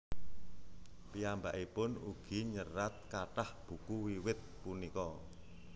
Piyambakipun ugi nyerat kathah buku wiwit punika